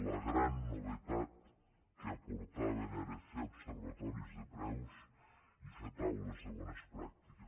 la gran novetat que aportaven era fer observatoris de preus i fer taules de bones pràctiques